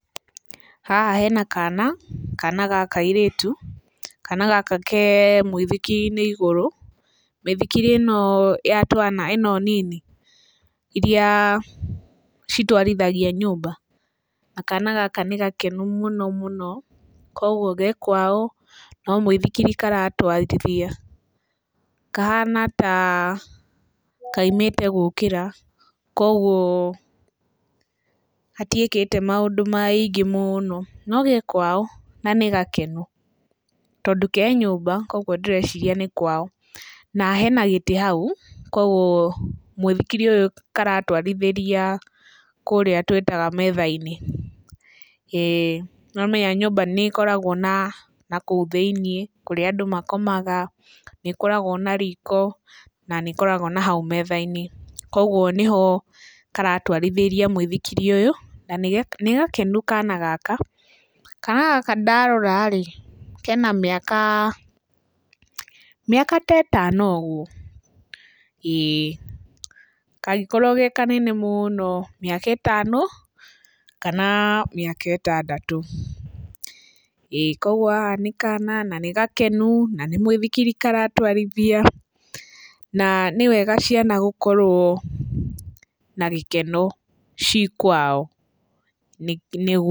Haha hena kana , kana ga kairĩtu. Kana gaka ke mũithikiri-inĩ igũrũ, mĩithikiri ĩno ya twana, ĩno nini iria citwarithagia nyũmba na kana gaka nĩ gakenu mũno mũno, koguo ge kwao, no mũithikiri karatwarithia. Kahana ta kaumĩte gũkĩra, koguo gatiĩkĩte maũndũ maingĩ mũno, no ge kwao na nĩ gakenu, tondũ ke nyũmba koguo ndĩreciria nĩ kwao, na hena gĩtĩ hau koguo mũithikiri ũyũ karatwarithĩria kũrĩa twĩtaga metha-inĩ ĩĩ, nĩũramenya nyũmba nĩ ĩkoragwo na nakũu thĩiniĩ, kũrĩa andũ makomaga, nĩ ĩkoragwo na riko na nĩ ĩkoragwo na hau metha-inĩ, koguo nĩho karatwarithĩria mũithikiri ũyũ na nĩ gakenu kana gaka. Kana gaka ndarora-rĩ, kena mĩaka, mĩaka, mĩaka ta ĩtano ũguo, ĩĩ, kangĩkorwo ge kanene mũno, mĩaka ĩtano kana mĩaka ĩtandatũ, ĩĩ koguo haha nĩ kana na nĩ gakenu na nĩ mũithikiri karatwarithia na nĩ wega ciana gũkorwo na gĩkeno ci kwao, nĩguo...